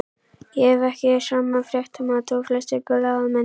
Ég hef ekki sama fréttamat og flestir blaðamenn.